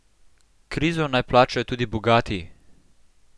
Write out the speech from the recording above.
Krizo naj plačajo tudi bogati!